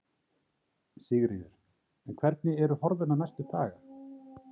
Sigríður: En hvernig eru horfurnar næstu daga?